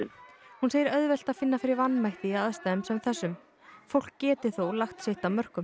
hún segir auðvelt að finna fyrir vanmætti í aðstæðum sem þessum fólk geti þó lagt sitt af mörkum